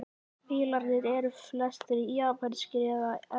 Bílarnir eru flestir japanskir eða evrópsk